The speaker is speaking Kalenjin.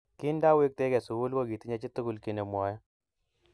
Kindawektekei sukul ko kitinye chitukul kiy nemwoe